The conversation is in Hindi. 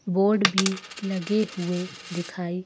बोर्ड भी लगे हुए दिखाई--